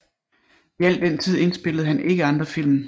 I al den tid indspillede han ikke andre film